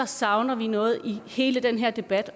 savner noget i hele den her debat